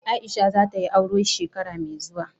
Aisha za ta yi aure shekara mai zuwa.